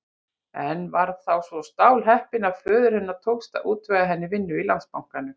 En var þá svo stálheppin að föður hennar tókst að útvega henni vinnu í Landsbankanum.